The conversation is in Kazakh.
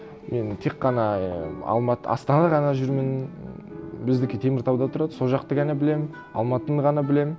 мен тек қана алматы астана ғана жүрмін біздікі теміртауда тұрады сол жақты ғана білемін алматыны ғана білемін